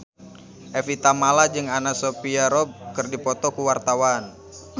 Evie Tamala jeung Anna Sophia Robb keur dipoto ku wartawan